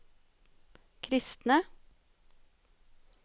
kristne